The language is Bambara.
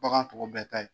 Bagan tɔw bɛɛ ta ye